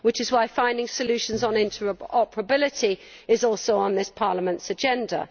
This is why finding solutions on interoperability is also on this Parliament's agenda.